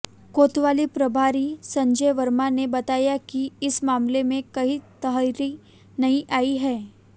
कोतवाली प्रभारी संजय वर्मा ने बताया कि इस मामले में कई तहरीर नहीं आई है